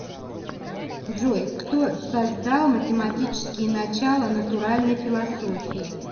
джой кто создал математические начала натуральной философии